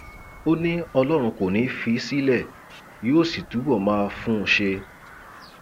ó ní ọlọrun kò ní í fi í sílẹ yóò sì túbọ máa fún un ṣe